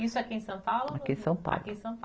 Isso aqui em São Paulo ou? Aqui em São Paulo